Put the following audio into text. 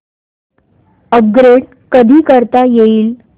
upgrade कधी करता येईल